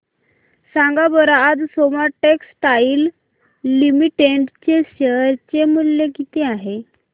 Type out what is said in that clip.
सांगा बरं आज सोमा टेक्सटाइल लिमिटेड चे शेअर चे मूल्य किती आहे